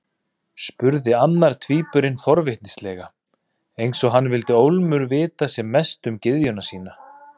spurði annar tvíburinn forvitnislega, eins og hann vildi ólmur vita sem mest um gyðjuna sína.